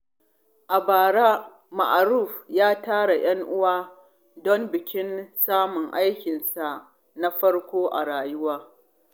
A bara, Ma’aruf ya tara ‘yan uwa don bikin samun aikinsa na farko a rayuwa.